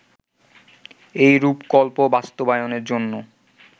এই রূপকল্প বাস্তবায়নের জন্য